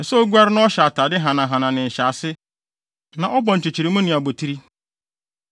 Ɛsɛ sɛ oguare na ɔhyɛ atade hanahana ne ne nhyɛase na ɔbɔ nkyekyeremu ne abotiri.